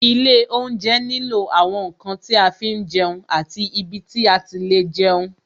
Ilé oúnjẹ nílò àwọn ǹkan tí a fi ń jẹun àti ibi tí a ti lè jẹun